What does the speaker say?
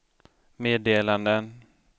meddelanden